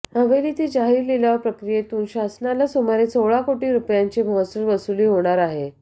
हवेलीतील जाहीर लिलाव प्रक्रियेतून शासनाला सुमारे सोळा कोटी रुपयांची महसूल वसुली होणार आहे